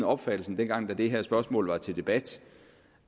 opfattelsen dengang det her spørgsmål var til debat